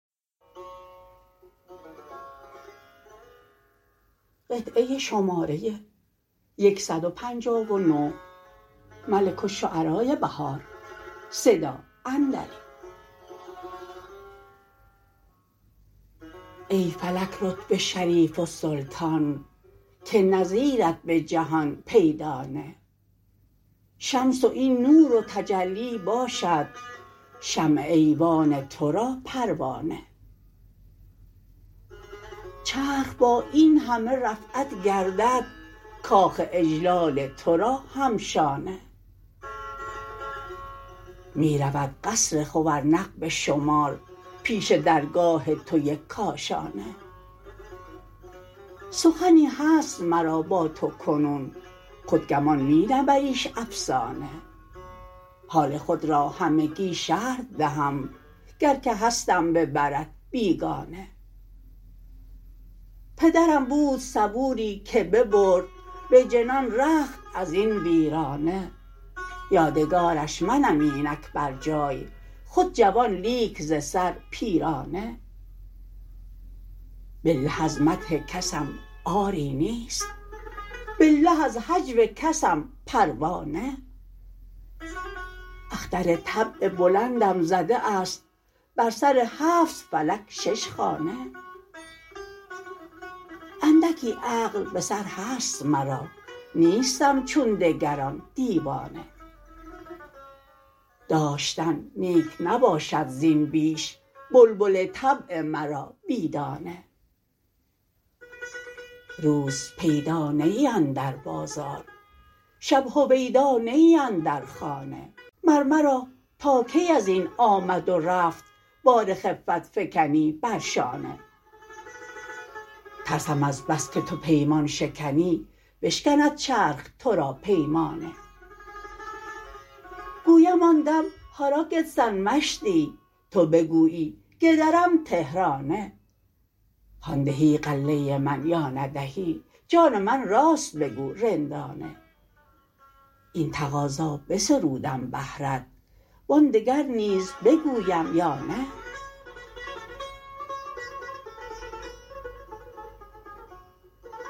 ای فلک رتبه شریف السلطان که نظیرت به جهان پیدا نه شمس و این نور و تجلی باشد شمع ایوان تو را پروانه چرخ با این همه رفعت گردد کاخ اجلال تو را هم شانه می رود قصر خورنق به شمار پیش درگاه تو یک کاشانه سخنی هست مرا با تو کنون خود گمان می نبریش افسانه حال خود را همگی شرح دهم گر که هستم به برت بیگانه پدرم بود صبوری که ببرد به جنان رخت از این ویرانه یادگارش منم اینک برجای خود جوان لیک ز سر پیرانه بالله از مدح کسم عاری نیست بالله از هجو کسم پروا نه اختر طبع بلندم زده است بر سر هفت فلک شش خانه اندکی عقل به سر هست مرا نیستم چون دگران دیوانه داشتن نیک نباشد زین بیش بلبل طبع مرا بی دانه روز پیدا نه ای اندر بازار شب هویدا نه ای اندر خانه مر مرا تا کی ازین آمد و رفت بار خفت فکنی بر شانه ترسم از بس که تو پیمان شکنی بشکند چرخ تو را پیمانه گویم آن دم هارا گدسن مشدی تو بگویی گدرم تهرانه هان دهی غله من یا ندهی جان من راست بگو رندانه این تقاضا بسرودم بهرت وآن دگر نیز بگویم یا نه